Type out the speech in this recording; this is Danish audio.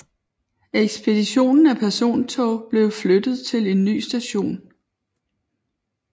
Ekspeditionen af persontog blev flyttet til en ny station